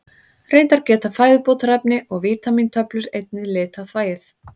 Reyndar geta fæðubótarefni og vítamíntöflur einnig litað þvagið.